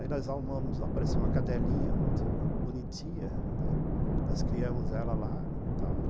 Aí nós armamos, apareceu uma cadelinha muito bonitinha, né, nós criamos ela lá e tal